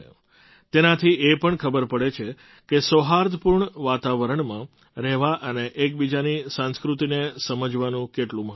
તેનાથી એ પણ ખબર પડે છે કે સૌહાર્દપૂર્ણ વાતાવરણમાં રહેવા અને એકબીજાની સંસ્કૃતિને સમજવાનું કેટલું મહત્ત્વ છે